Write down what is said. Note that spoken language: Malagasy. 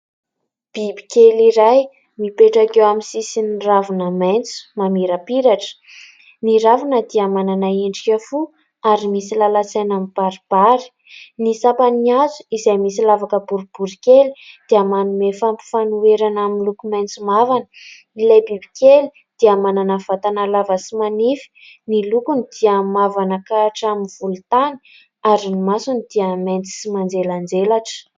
Bibikely iray mipetraka eo amin'ny sisiny ravina maitso mamirapiratra. Ny ravina dia manana endrika fo ary misy lalan-tsaina mibaribary. Ny sampany hazo izay misy lavaka boribory kely dia manome fampifanoherana miloko maitso mavana. Ilay bibikely dia manana vatana lava sy manify. Ny lokony dia mavana ka hatramin'ny volontany ary ny masony dia maitso sy manjelanjelatra.